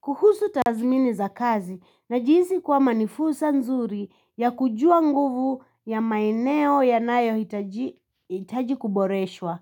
Kuhusu tazmini za kazi najihisi kwama ni fursa nzuri ya kujua nguvu ya maeneo ya nayo hitaji kuboreshwa.